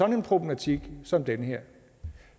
en problematik som den her